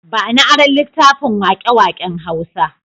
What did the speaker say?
Ba ni aron littafin waƙe-waƙen Hausawa.